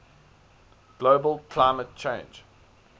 global climate change